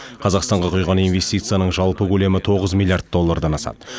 қазақстанға құйған инвестицияның жалпы көлемі тоғыз миллиард доллардан асады